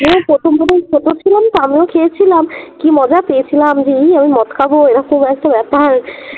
প্রথম প্রথম ছোট ছিলাম তো আমিও খেয়েছিলাম কি মজা পেয়েছিলাম যে এই আমি মদ খাবো এরকম একটা ব্যাপার